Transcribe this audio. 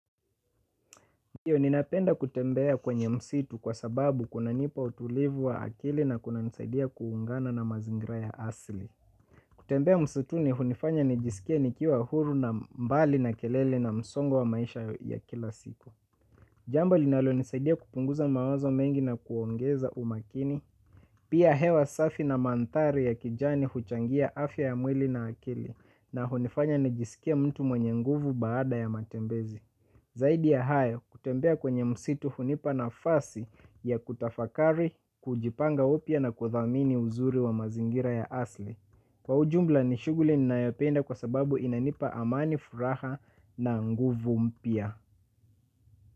Ndiyo ninapenda kutembea kwenye msitu kwa sababu kuna nipa utulivu wa akili na kuna nisaidia kuungana na mazingra ya asili. Kutembea msituni hunifanya nijisikie nikiwa huru na mbali na kelele na msongo wa maisha ya kila siku. Jambo linalo nisaidia kupunguza mawazo mengi na kuongeza umakini. Pia hewa safi na mandhari ya kijani huchangia afya ya mwili na akili na hunifanya nijisikie mtu mwenye nguvu baada ya matembezi. Zaidi ya hayo kutembea kwenye msitu hunipa nafasi ya kutafakari, kujipanga upya na kudhamini uzuri wa mazingira ya asili. Kwa ujumla ni shughuli ninayopenda kwa sababu inanipa amani furaha na nguvu mpya.